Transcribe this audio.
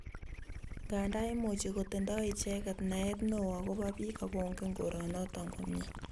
Nganda imuchi kotindoi icheket naet neo akobo biik akongen koronoto komye